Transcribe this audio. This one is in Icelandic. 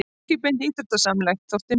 Ekki beint íþróttamannslegt þótti mér.